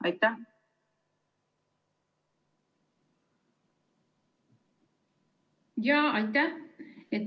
Aitäh!